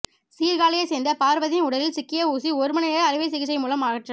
சீர்காழியை சேர்ந்த பார்வதியின் உடலில் சிக்கிய ஊசி ஒருமணி நேர அறுவை சிகிச்சை மூலம் அகற்றம்